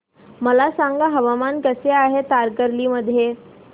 मला सांगा हवामान कसे आहे तारकर्ली मध्ये